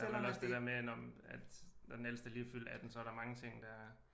Jamen også det dér med at når men at når den ældste lige er fyldt 18 så er der mange ting der